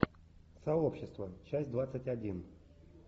сообщество часть двадцать один